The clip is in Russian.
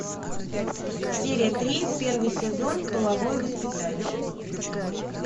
серия три первый сезон половое воспитание